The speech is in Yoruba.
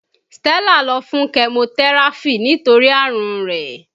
Stella lọ fún kẹmotẹ́ráfì nítorí àrùn rẹ̀